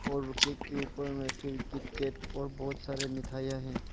और केक के ऊपर में फिर किट केट और बहोत सारे मिथाइयां है।